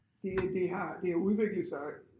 Det det har det har udviklet sig